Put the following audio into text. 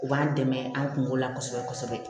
U b'an dɛmɛ an kungo la kosɛbɛ kosɛbɛ